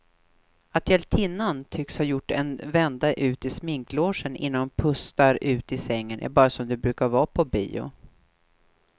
Att hjältinnan tycks ha gjort en vända ut i sminklogen innan hon pustar ut i sängen är bara som det brukar vara på bio.